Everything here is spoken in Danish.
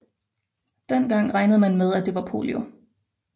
Dengang regnede man med at det var polio